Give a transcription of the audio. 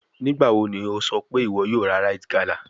Nigbawo ni o sọ pe iwọ yoo ra rite gala?